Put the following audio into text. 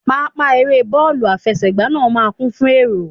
Pápá eré bọ́ọ̀lù àfẹsẹ̀gbá náà máa ń kún fún èrò